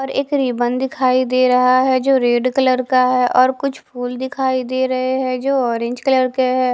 और एक रिबन दिखाई दे रहा है जो रेड कलर का है और कुछ फूल दिखाई दे रहे हैं जो ऑरेंज कलर के है।